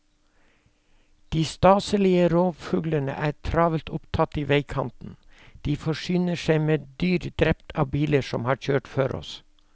De staselige rovfuglene er travelt opptatt i veikanten, de forsyner seg med dyr drept av biler som har kjørt før oss.